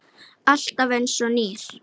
Alltaf einsog nýr.